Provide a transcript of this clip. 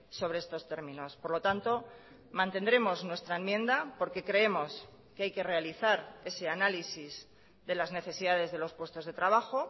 sobre estos términos por lo tanto mantendremos nuestra enmienda porque creemos que hay que realizar ese análisis de las necesidades de los puestos de trabajo